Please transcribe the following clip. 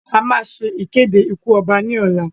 A máa ṣe ìkéde ikú ọba ní ọ̀la.